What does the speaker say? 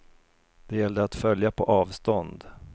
Det gällde att följa på avstånd.